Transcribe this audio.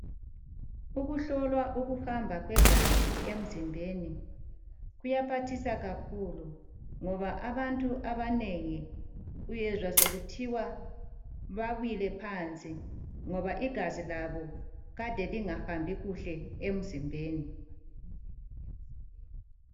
Ukuhlolwa ukuhamba kwegazi emzimbeni kuyaphathisa kakhulu ngoba abantu abanengi uyezwa sokuthiwa bawile phansi ngoba igazi labo kade lingahambi kuhle emzimbeni.